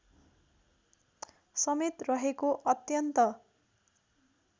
समेत रहेको अत्यन्त